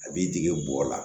A b'i dege bɔgɔ la